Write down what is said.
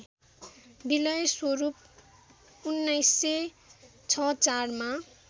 विलय स्वरूप १९६४ मा